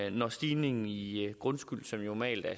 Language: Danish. en stigning i i grundskylden som normalt er